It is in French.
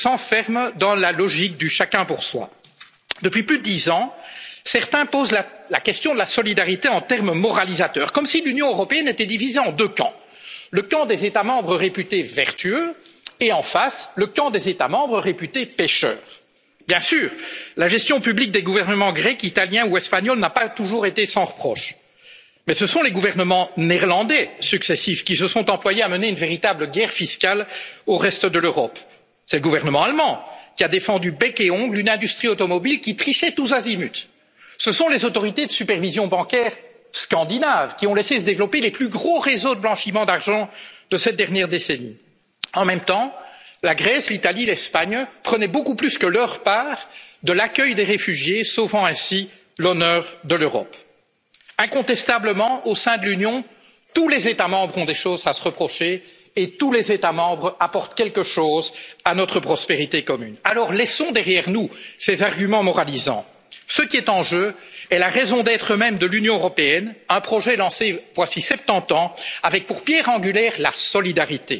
Ils s'enferment dans la logique du chacun pour soi. Depuis plus de dix ans, certains posent la question de la solidarité en termes moralisateurs, comme si l'Union européenne était divisée en deux camps le camp des États membres réputés vertueux et, en face, le camp des États membres réputés pécheurs. Bien sûr, la gestion publique des gouvernements grecs, italiens ou espagnols n'a pas toujours été sans reproche. Mais ce sont les gouvernements néerlandais successifs qui se sont employés à mener une véritable guerre fiscale contre le reste de l'Europe. C'est le gouvernement allemand qui a défendu bec et ongles une industrie automobile qui trichait tous azimuts. Ce sont les autorités de supervision bancaire scandinaves qui ont laissé se développer les plus gros réseaux de blanchiment d'argent de cette dernière décennie. En même temps, la Grèce, l'Italie et l'Espagne prenaient beaucoup plus que leur part de l'accueil des réfugiés, sauvant ainsi l'honneur de l'Europe. Incontestablement, au sein de l'Union, tous les États membres ont des choses à se reprocher et tous les États membres apportent quelque chose à notre prospérité commune. Alors laissons derrière nous ces arguments moralisants. Ce qui est en jeu est la raison d'être même de l'Union européenne, un projet lancé voici septante ans avec pour pierre angulaire